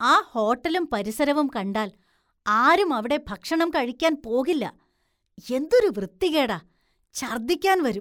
ആ ഹോട്ടലും പരിസരവും കണ്ടാല്‍ ആരും അവിടെ ഭക്ഷണം കഴിക്കാന്‍ പോകില്ല, എന്തൊരു വൃത്തികേടാ, ഛര്‍ദ്ദിക്കാന്‍ വരും.